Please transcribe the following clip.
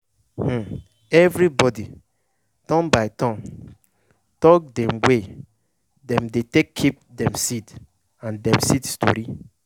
um everybody turn by turn talk de way dem dey take keep dem seed and dem seed stori.